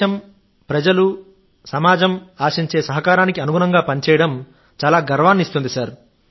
దేశం ప్రజలు సమాజం ఆశించే సహకారానికి అనుగుణంగా పనిచేయడం గర్వాన్ని కలిగిస్తుంది